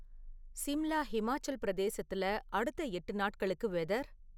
சிம்லா ஹிமாச்சல் பிரதேசத்துல அடுத்த எட்டு நாட்களுக்கு வெதர்